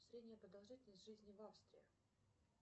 средняя продолжительность жизни в австрии